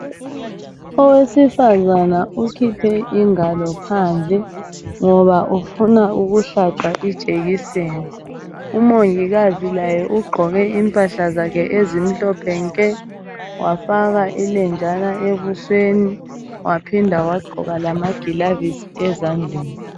Owesifazana ukhiphe ingalo phandle, ngoba ufuna ukuhlatshwa ijekiseni. Umongikazi laye ugqoke impahla zakhe ezimhlophe nke, wafaka ilenjana ebusweni, waphinda wagqoka lamagilavisi ezandleni.